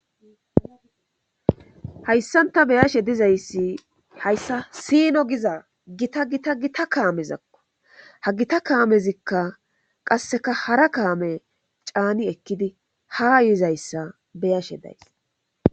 hayssanta beyashe dizayssi hayssa siino giza gita gita gita kaamezakko ha gita kaamezikka qasseka hara kaame caani ekkidi ha yuizayssa beyashe days